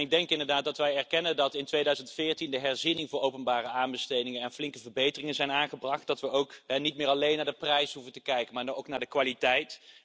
Ik denk inderdaad dat wij erkennen dat in er 2014, in de herziening voor openbare aanbestedingen flinke verbeteringen zijn aangebracht, dat we ook niet meer alleen naar de prijs hoeven te kijken, maar ook naar de kwaliteit.